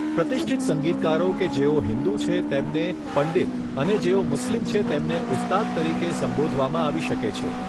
પ્રતિષ્ઠિત સંગીતકારો કે જેઓ હિંદુ છે તેમને પંડિત અને જેઓ મુસ્લિમ છે તેમને ઉસ્તાદ તરીકે સંબોધવામાં આવી શકે છે.